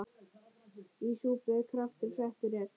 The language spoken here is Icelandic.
Í súpu kraftur settur er.